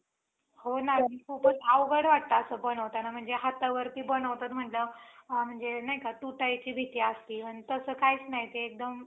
तो जास्त पाणी झाल्यामुळे, तो पाणी साचून असते त्या शेतामध्ये. म्हणूनसुद्धा आपल्याला loss होत असते. म्हणून आपण आपलं पीक वाया जात असतं. म्हणून आपल्याला पुन्हा पेरणी करावी लागते कितीतरीदा.